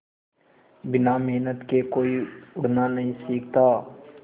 बिना मेहनत के कोई उड़ना नहीं सीखता